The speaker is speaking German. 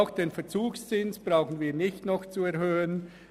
Auch den Verzugszins brauchen wir nicht auf 4 Prozent zu erhöhen.